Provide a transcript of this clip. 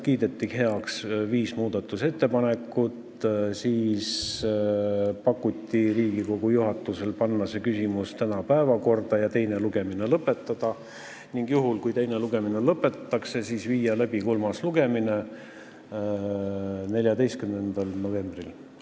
Kiideti heaks viis muudatusettepanekut, siis otsustati teha Riigikogu juhatusele ettepanek panna see küsimus tänasesse päevakorda ja teine lugemine lõpetada, ning juhul kui teine lugemine lõpetatakse, teha kolmas lugemine 14. novembril.